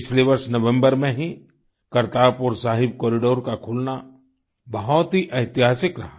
पिछले वर्ष नवम्बर में ही करतारपुर साहिब कॉरिडोर का खुलना बहुत ही ऐतिहासिक रहा